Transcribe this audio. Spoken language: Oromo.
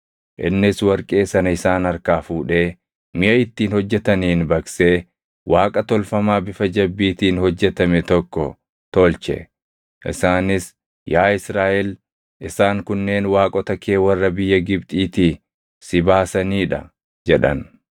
Innis warqee sana isaan harkaa fuudhee miʼa ittiin hojjetaniin baqsee Waaqa tolfamaa bifa jabbiitiin hojjetame tokko tolche; isaanis, “Yaa Israaʼel isaan kunneen waaqota kee warra biyya Gibxiitii si baasanii dha” jedhan.